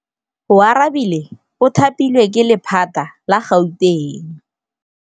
Oarabile o thapilwe ke lephata la Gauteng.